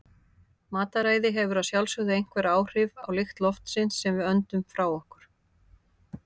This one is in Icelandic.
Mataræði hefur að sjálfsögðu einhver áhrif á lykt loftsins sem við öndum frá okkur.